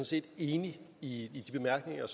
set enig i de bemærkninger